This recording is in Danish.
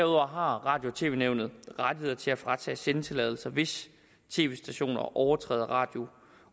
radio og tv nævnet ret til at fratage sendetilladelser hvis tv stationer overtræder radio